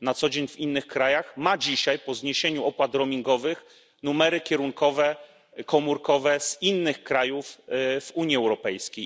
na co dzień pracują w innych krajach, ma dzisiaj, po zniesieniu opad roamingowych, numery kierunkowe komórkowe z innych krajów Unii Europejskiej.